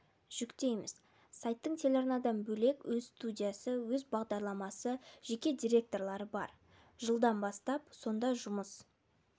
жүктейміз сайттың телеарнадан бөлек өз студиясы өз бағдарламасы жеке дикторлары бар жылдан бастап сонда жұмыс